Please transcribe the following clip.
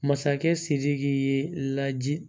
Masakɛ sidiki ye laji